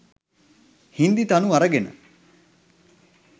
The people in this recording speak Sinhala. හින්දි තනු අරගෙන